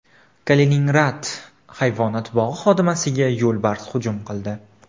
Kaliningrad hayvonot bog‘i xodimasiga yo‘lbars hujum qildi.